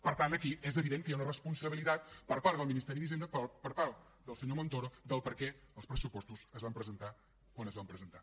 per tant aquí és evident que hi ha una responsabilitat per part del ministeri d’hisenda per part del senyor montoro del perquè els pressupostos es van presentar quan es van presentar